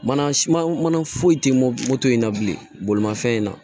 Mana siman mana foyi tɛ moto in na bilen bolimafɛn in na